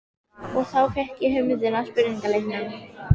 Og þá fékk ég hugmyndina að spurningaleiknum.